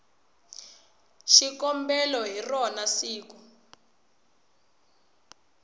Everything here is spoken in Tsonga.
na xikombelo hi rona siku